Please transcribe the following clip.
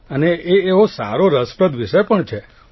અને એ સારો એવો રસપ્રદ વિષય પણ છે